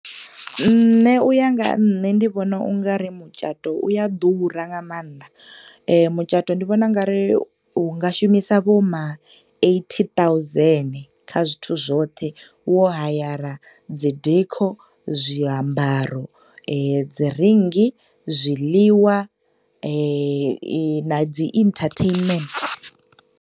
Nṋe u ya nga nṋe ndi vhona ungari mutshato u ya ḓura nga maanḓa. Mutshato ndi vhona ungari u nga shumisa vho ma eighty thousand kha zwithu zwoṱhe wo hayara dzi decor, zwi ambaro, dzi ringi, zwiḽiwa, na dzi entertainment.